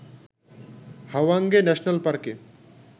Hwange national পার্কে